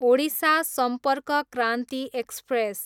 Odisha Sampark Kranti express